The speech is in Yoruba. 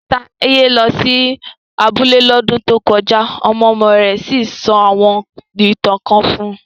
Taye lọ sí abúlé lọ́dún tó kọjá ọmọ-ọmọ rẹ̀ sì sọ àwọn ìtàn kan fún un